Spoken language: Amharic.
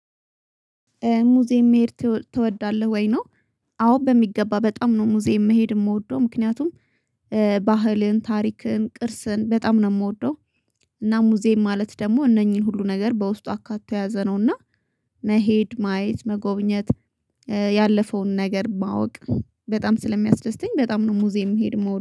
ሙዚየም መሄድ ትወዳለህ ወይ? ነው አዎ በሚገባ በጣም ነው ሙዚየም መሄድ የምወደው ምክንያቱም ባህልን ታሪክን ቅርስን በጣም ነው የምወደው። እና ሙዚየም ማለት ደግሞ እነኚህን ሁሉ ነገር በውስጡ አካቶ የያዘነውና መሄድ ማየት መጎብኘት። ያለፈውን ነገር ማወቅ በጣም ስለሚያስደስተኝ በጣም ነው ሙዚየም መሄድ እምውደ